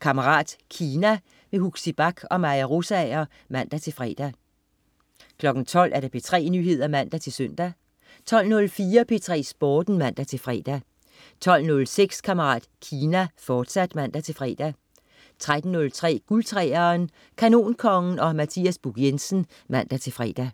Kammerat Kina. Huxi Bach og Maja Rosager (man-fre) 12.00 P3 Nyheder (man-søn) 12.04 P3 Sporten (man-fre) 12.06 Kammerat Kina, fortsat (man-fre) 13.03 Guld 3'eren. Kanonkongen og Mathias Buch Jensen (man-fre)